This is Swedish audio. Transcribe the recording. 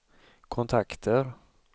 kontakter